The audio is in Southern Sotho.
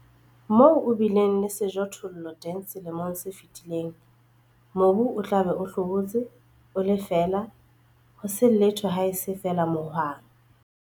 Moo o bileng le sejothollo teng selemong se fetileng, mobu o tla be o hlobotse, o le feela, ho se letho haese feela mohwang.